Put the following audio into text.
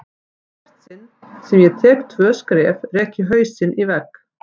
Í hvert sinn sem ég tek tvö skref rek ég hausinn í vegg.